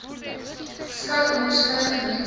skei onderskeie gemeenskappe